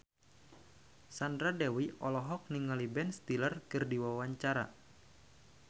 Sandra Dewi olohok ningali Ben Stiller keur diwawancara